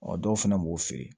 Ɔ dɔw fana b'u feere